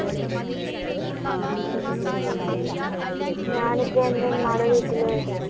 ഞാൻ ഇപ്പ എന്റെ ഉമ്മാടെ വീട്ടില്